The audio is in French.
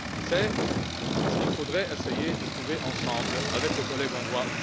C'est ce qu'il faudrait essayer de trouver ensemble, avec les collègues hongrois.